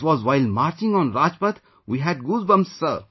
It was while marching on Rajpath, we had goosebumps